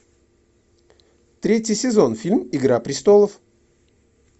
третий сезон фильм игра престолов